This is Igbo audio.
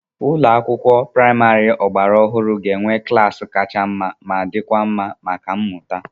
Ulo akwụkwọ praịmarị ọgbara ọhụrụ ga-enwe klaasị kacha mma ma dịkwa mma maka mmụta.